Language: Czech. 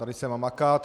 Tady se má makat.